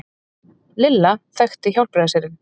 Lilla þekkti Hjálpræðisherinn.